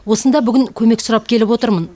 осында бүгін көмек сұрап келіп отырмын